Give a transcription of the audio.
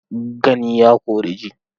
Gani ya kori ji.